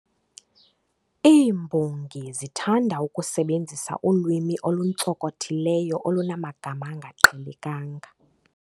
Iimbongi zithanda ukusebenzisa ulwimi oluntsonkothileyo olunamagama angaqhelekanga.